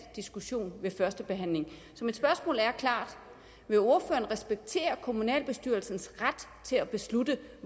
diskussion ved første behandling så mit spørgsmål er klart vil ordføreren respektere kommunalbestyrelsens ret til at beslutte